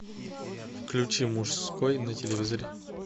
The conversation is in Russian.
включи мужской на телевизоре